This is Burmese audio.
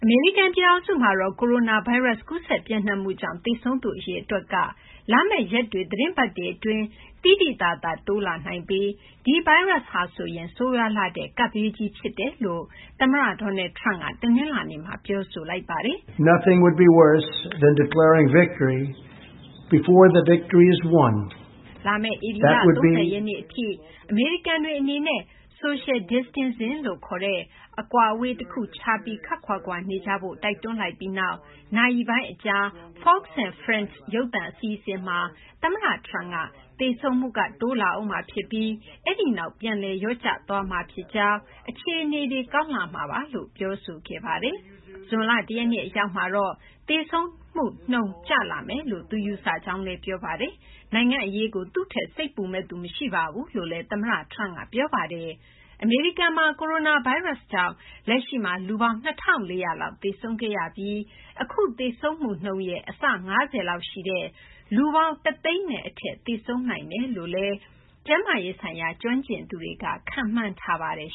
မေရိကန် ပြည်ထောင်စုမှာ ကိုရိုနာဗိုင်းရပ်စ် ကူးစက် ပျံ့နှံ့မှုကြောင့် သေဆုံးသူ အရေအတွက်က လာမယ့် ရက်တွေ သီတင်းပတ်တွေ အတွင်း သိသိသာ တိုးလာနိုင်ပြီး ဒီဗိုင်းရပ်စ်ဟာဆိုရင် ဆိုးရွားလှတဲ့ ကပ်ဘေးကြီး အဖြစ် သမ္မတ Donald Trump က တနလာၤနေ့မှာ ပြောဆိုလိုက်ပါတယ်။ လာမယ့် ဧပြီလ ၃၀ ရက်နေ့ အထိ အမေရိကန်တွေ အနေနဲ့ Social Distancing - အကွာအဝေး တခုခြားပြီး ခပ်ခွာခွာ နေကြဖို့ တိုက်တွန်းလိုက်ပြီးနောက် နာရီပိုင်းအကြာ Fox &Friends ရုပ်သံအစီအစဉ်မှာ သမ္မတ Trump က သေဆုံးမှုက တိုးလာဦးမှာ ဖြစ်ပြီး အဲဒီနောက် ပြန်လည် လျော့ကျလာပြီး အခြေအနေ ကောင်းလာမှာပါလို့ ပြောဆိုခဲ့ပါတယ်။ ဇွန်လ ၁ ရက်နေ့ အရောက်မှာတော့ သေဆုံးမှုနှုန်း ကျလာမယ်လို့ ယူဆကြောင်း ပြောဆိုခဲ့ပါတယ်။ နိုင်ငံ့ အရေးကို သူ့ထက် စိတ်ပူမယ့်သူ မရှိဘူးလို့လည်း သမ္မတ Trump က ပြောပါတယ်။ အမေရိကန်မှာ ကိုရိုနာဗိုင်းရပ်စ်ကြောင့် လက်ရှိမှာ လူပေါင်း ၂,၄၀၀ လောက် သေဆုံးခဲ့ရပြီး၊ အခု သေဆုံးမှုနှုန်းနဲ့ အဆ ၅၀ လောက် ရှိတဲ့ လူပေါင်း ၁၀၀,၀၀၀ နဲ့ အထက် သေဆုံးနိုင်တယ်လို့လည်း ကျန်းမာရေးဆိုင်ရာ ကျွမ်းကျင်သူတွေက ခန့်မှန်းထားပါတယ်